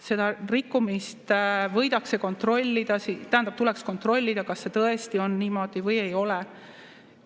Seda rikkumist tuleks kontrollida, kas see tõesti on nii või ei ole.